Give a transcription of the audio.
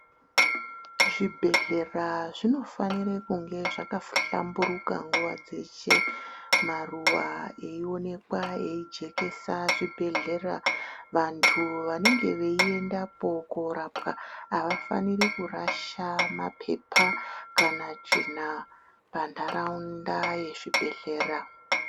Zvibhedhlera zvinofanira kunge zvakahlamburuka nguwa dzeshe. Maruwa eionekwa eijekesa zvibhedhlera. Vantu vanenge veiendapo korapwa avafaniri kurasha maphepa kana tsvina panharaunda yezvibhedhlera.